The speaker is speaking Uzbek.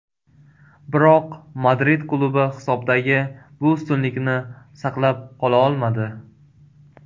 Biroq Madrid klubi hisobdagi bu ustunlikni saqlab qola olmadi.